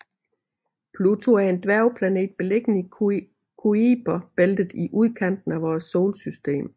Pluto er en dværgplanet beliggende i Kuiperbæltet i udkanten af vores solsystem